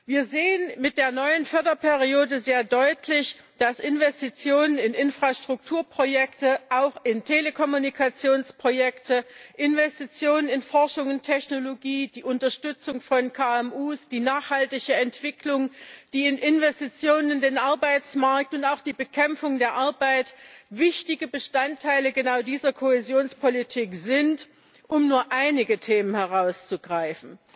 Wir sehen mit der neuen Förderperiode sehr deutlich, dass Investitionen in Infrastrukturprojekte, auch in Telekommunikationsprojekte, Investitionen in Forschung und Technologie, die Unterstützung von KMU, die nachhaltige Entwicklung, die in Investitionen in den Arbeitsmarkt und auch die Bekämpfung der Arbeitslosigkeit wichtige Bestandteile genau dieser Kohäsionspolitik sind, um nur einige Themen herauszugreifen.